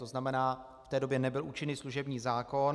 To znamená, v té době nebyl účinný služební zákon.